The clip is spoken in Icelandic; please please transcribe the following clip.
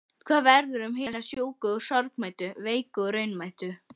Hvað verður um hina sjúku og sorgmæddu, veiku og raunamæddu?